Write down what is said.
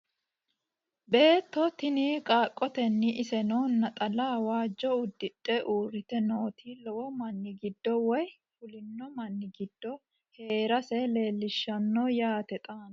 Beetto tinni qaaqottenno isenno naxxalla waajjo udidhe uuritte nootti lowo manni giddo woy fulinno manni giddo Heerasse leelishshanno yaatte xaanno